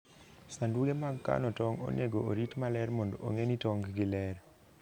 Sanduge mag kano tong' onego orit maler mondo ong'e ni tong'gi ler.